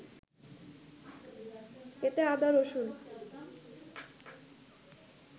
এতে আদা, রসুন